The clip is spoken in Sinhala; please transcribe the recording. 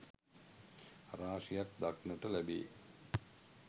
රාශියක් දක්නට ලැබේ.